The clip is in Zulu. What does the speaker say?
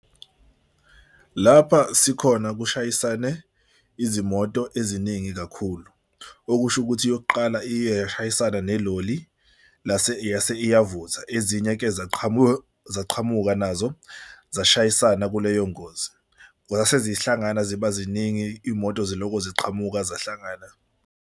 Lapha sikhona kushayisane izimoto eziningi kakhulu, okusho ukuthi yokuqala iye yashayisana neloli lase yase iyavutha. Ezinye-ke zaqhamuka zaqhamuka nazo zashayisana kuleyo ngozi. Zase zihlangana ziba ziningi iy'moto ziloko ziqhamuka zahlangana.